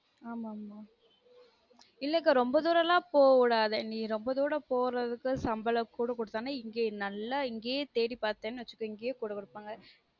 ஆமாஆமா இல்லக்கா ரொம்ப தூரம் லான் போக விடாத நீ ரொம்ப தூரம் போறதுக்கு சம்பளம் கூட குடுத்தாங்கனா இங்கயே நல்லா தேடி பார்த்த வச்சுக்க இங்கயே கூட குடுப்பாங்க